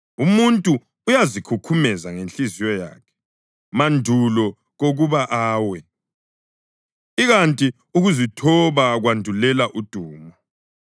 Umuntu uyazikhukhumeza ngenhliziyo yakhe, mandulo kokuba awe, ikanti ukuzithoba kwandulela udumo.